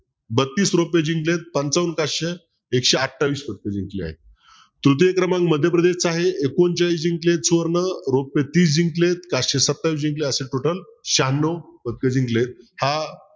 बत्तीस जिंकलेत पंचावन्न काश्य एकशे अठावीस जिंकले आहेत तृतीय क्रमांक मध्यप्रदेशचा आहे एकोणचाळीस जिंकलेत सुवर्ण छत्तीस जिंकलेत काश्य सत्तावीस जिंकले असे total शहणो पदक जिंकलेत